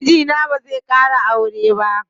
Mijina bazai ƙara aure ba.